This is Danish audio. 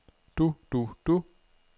du du du